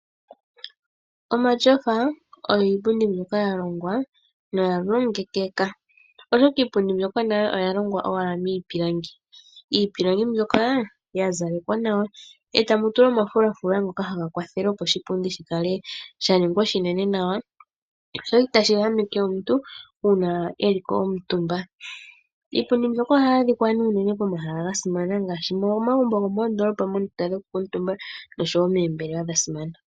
Omasofa ogo iipundi ya longwa noyalongekeka oshoka iipundi mbyoka nayo oya longwa miipilangi. Iipilangi mbyoka oya zalekwa nawa e ta mu tulwa omafulafula ngoka haga kwathele oshipundi shi ninge oshinene nawa, sho itashi ehameke omuntu uuna e li ko omutumba. Iipundi mbyoka ohayi adhika unene pomahala ga simana ngaashi momagumbo gomoondolopa nomoombelawa dha simana.